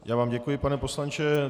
Já vám děkuji, pane poslanče.